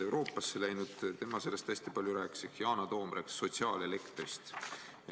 Yana Toom rääkis sotsiaalelektrist.